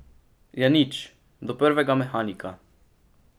Ja nič, do prvega mehanika.